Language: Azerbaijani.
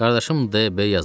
Qardaşım D. B. yazıçıdır.